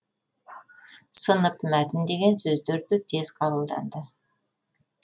сынып мәтін деген сөздер де тез қабылданды